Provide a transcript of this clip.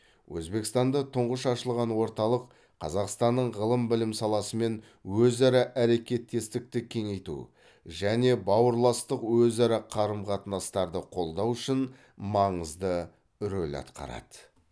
өзбекстанда тұңғыш ашылған орталық қазақстанның ғылым білім саласымен өзара әрекеттестікті кеңейту және бауырластық өзара қарым қатынастарды қолдау үшін маңызды рөл атқарады